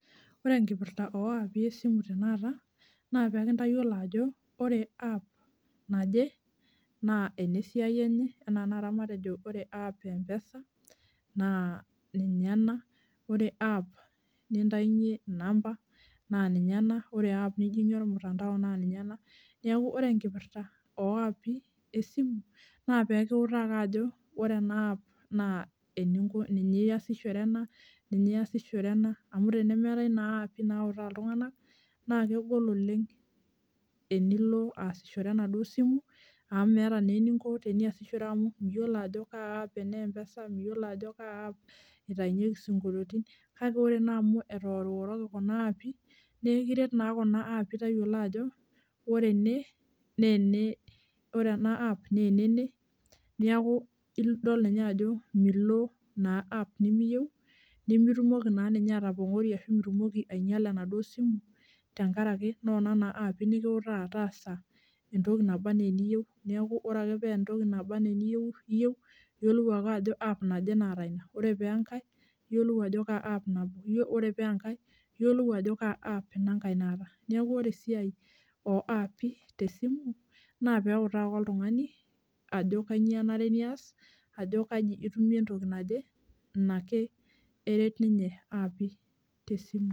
Ore enkipirta oaapi esimu tenakata naa pekintayiolo ajo ore app naje naa ena esiai enye anaa tenakata matejo ore app empesa naa ninye ena, ore app nintayunyie inamba naa ninye ena, ore app nijingie ormutandao naa ninye ena, niaku ore enkipirta oapi esimu na pekiutaa ake ajo ore ena app naa eninko niasishore ena, amu tenemeetae naa appi nautaa iltunganak naa kegol oleng enilo aasishore enaduo simu amu meeta naa eninko teniasishore amu miyiolo ajo kaa app enempesa ,miyiolo ajo kaa app itayunyieki isinkolioti , kake ore naa amu etooriworoki kuna appi nee ekiret naa kuna appi tayiolo ajo ore ene nee ene, ore ena app nee enene , niaku idol ninye aaku milo app nimiyieu , nimitumoki naa ninye atopongori ashu mitumoki ainyiala ena simu tenkaraki nona naa appi nikiutaa taasa entoki naba anaa eniyieu . Niaku ore ake pee entoki naba anaa eniyieu , iyieu , iyiolou ake ajo app naje naata ina, ore si enkae , niyiolou si ajo kaa app nabo , ore paa enkae iyiolou ajo kaa app inankae naata, niaku ore esiai oapi tesimu naa peutaa ake oltungani ajo kainyio enare nias ajo kaji itumie entoki naje, enake eret ninye appi tesimu.